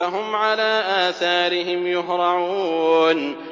فَهُمْ عَلَىٰ آثَارِهِمْ يُهْرَعُونَ